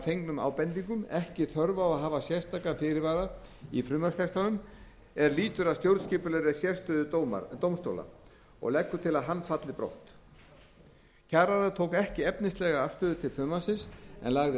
fengnum ábendingum ekki þörf á að hafa sérstakan fyrirvara í frumvarpstextanum er lýtur að stjórnskipulegri sérstöðu dómstóla og leggur til að hann falli brott kjararáð tók ekki efnislega afstöðu til frumvarpsins en lagði